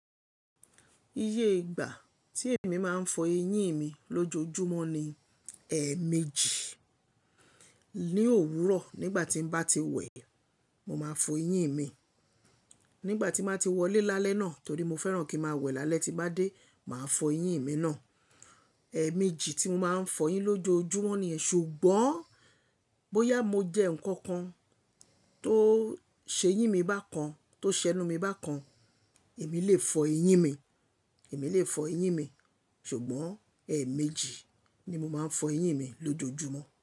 Iye ìgbà tí èmi máa ń fọ eyín mi lójoojúmọ́ ni, ẹ́ẹ̀ méjì. Ni òwúrọ̀ nígbà tí n bá ti wẹ̀ẹ́, mo máa fọ eyín mi. Nígbà tí máa ti wọlé lálẹ́ náà torí mo fẹ́ràn kí ma wẹ̀ẹ́ lálẹ́ tí bá dé, màá fọ eyín mi náà. Ẹ́ẹ̀ méjì tí mo máa ń fọ eyín lójoojúmọ́ ni ẹ ṣùgbọ́n bóyá mo jẹ nǹkan kan tó ṣe eyín mi bá kan, tó ṣenu mi bá kan, èmi lè fọ eyín mi, èmi lè fọ eyín mi ṣùgbọ́n ẹ́ẹ̀ méjì ni mo máa ń fọ eyín mi lójoojúmọ́